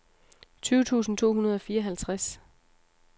tyve tusind to hundrede og fireoghalvtreds